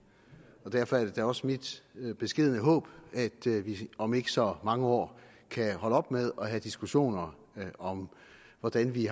og derfor er det da også mit mit beskedne håb at vi om ikke så mange år kan holde op med at have diskussioner om hvordan vi